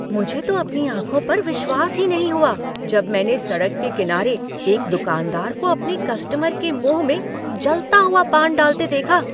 मुझे तो अपनी आँखों पर विश्वास ही नहीं हुआ जब मैंने सड़क के किनारे एक दुकानदार को अपने कस्टमर के मुंह में जलता हुआ पान डालते देखा